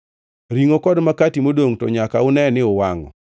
Ringʼo kod makati modongʼ to nyaka une ni uwangʼo.